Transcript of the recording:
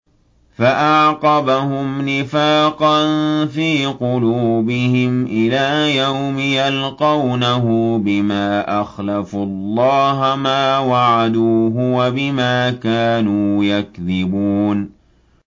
فَأَعْقَبَهُمْ نِفَاقًا فِي قُلُوبِهِمْ إِلَىٰ يَوْمِ يَلْقَوْنَهُ بِمَا أَخْلَفُوا اللَّهَ مَا وَعَدُوهُ وَبِمَا كَانُوا يَكْذِبُونَ